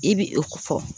I bi o ko fɔ